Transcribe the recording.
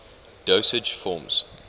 dosage forms